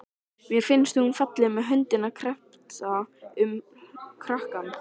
Mér finnst hún falleg með höndina kreppta um kranann.